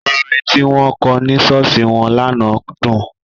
Orin tí wọ́n kọ ní ṣọ́ọ̀ṣì wọn lánàá dùn.